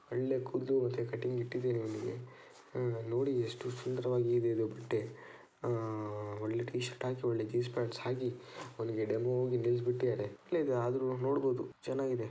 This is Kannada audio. ಒಳ್ಳೆ ಕೂದಲು ಮತ್ತು ಕಟಿಂಗ್ ಇಟ್ಟಿದಾರೆ ಆ ನೋಡಿ ಎಷ್ಟು ಸುಂದರವಾಗಿದೆ ಈ ಬಟ್ಟೆ ಆ ಒಳ್ಳೆ ಟೀ ಶರ್ಟ್ ಹಾಕಿ ಒಳ್ಳೆ ಜೀನ್ಸ್ ಪ್ಯಾಂಟ್ ಹಾಕಿ ಅವನಿಗೆ ಡೆಮೋ ಗೆ ನಿಲ್ಲಿಸ್ ಬಿಟ್ಟಿದ್ದಾರೆ. ಆದ್ರೂ ನೋಡಬಹುದು ಚೆನ್ನಾಗಿದೆ.